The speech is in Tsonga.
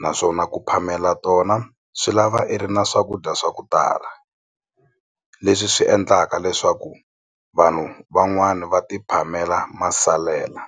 naswona ku phamela tona swi lava i ri na swakudya swa ku tala leswi swi endlaka leswaku vanhu van'wani va ti phamela masalela.